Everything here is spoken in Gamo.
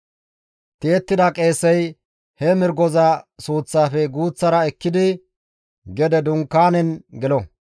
Tiyettida qeesey he mirgoza suuththafe guuththara ekkidi gede Dunkaanezan gelo;